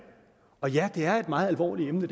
og ja det her er et meget alvorligt emne